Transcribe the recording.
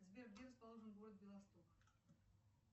сбер где расположен город белосток